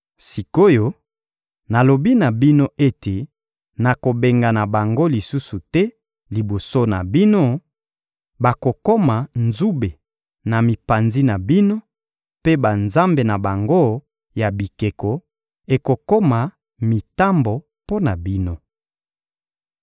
Sik’oyo, nalobi na bino ete nakobengana bango lisusu te liboso na bino; bakokoma nzube na mipanzi na bino, mpe banzambe na bango ya bikeko ekokoma mitambo mpo na bino.»